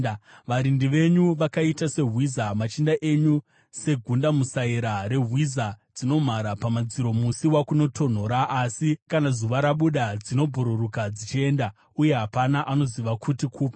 Varindi venyu vakaita sehwiza, machinda enyu segundamusaira rehwiza dzinomhara pamadziro musi wakunotonhora, asi kana zuva rabuda dzinobhururuka dzichienda, uye hapana anoziva kuti kupi.